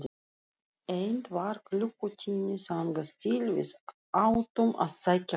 Enn var klukkutími þangað til við áttum að sækja hana.